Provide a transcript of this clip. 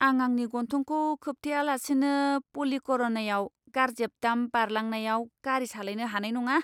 आं आंनि गन्थंखौ खोबथेयालासिनो पाल्लीकरनईआव गार्बेज डाम्प बारलांनायाव गारि सालायनो हानाय नङा!